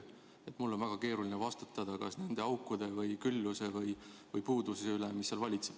Seega on mul väga keeruline vastutada nende aukude või külluse või puuduse eest, mis seal valitseb.